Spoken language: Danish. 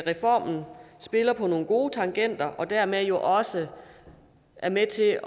reformen spiller på nogle gode tangenter og dermed også er med til